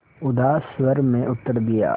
उदास स्वर में उत्तर दिया